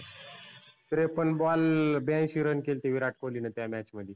त्रेपन्न ball बैंशी run केलते विराट कोल्हीनं त्या match मध्ये.